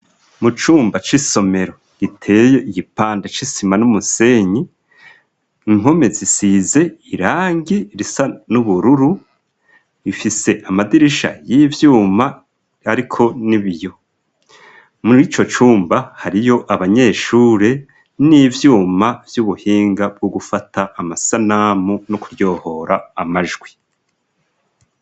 Mu cumba c'isomero giteye igipande c'isima n'umusenyi, impome zisize irangi risa n'ubururu, ifise amadirisha y'ivyuma ariko n'ibiyo. Murico cumba hariyo abanyeshure n'ivyuma vy'ubuhinga bwo gufata amasanamu no kuryohora amajwi.